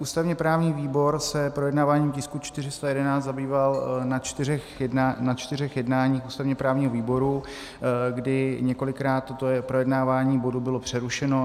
Ústavně-právní výbor se projednáváním tisku 411 zabýval na čtyřech jednáních ústavně-právního výboru, kdy několikrát toto projednávání bodu bylo přerušeno.